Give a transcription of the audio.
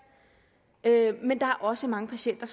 men der er også mange patienter